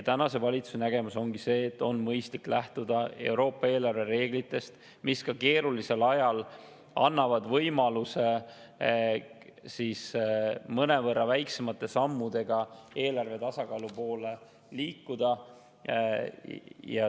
Tänase valitsuse nägemus ongi see, et on mõistlik lähtuda Euroopa eelarvereeglitest, mis ka keerulisel ajal annavad võimaluse mõnevõrra väiksemate sammudega eelarvetasakaalu poole liikuda.